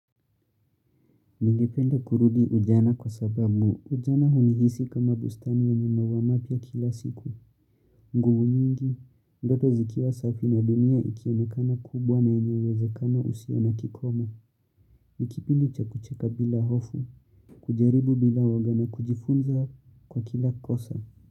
Ningependa kurudi ujana kwa sababu ujana hunihisi kama bustani ya mambo mapya kila siku. Nguvu nyingi, ndoto zikiwa safi na dunia ikionekana kubwa na yenye uwezekano usio na kikoma. Nikipindi cha kucheka bila hofu, kujaribu bila uoga na kujifunza kwa kila kosa.